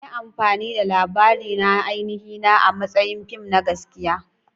An yi amfani da labarina na ainihina a matsayin fim na gaskiya.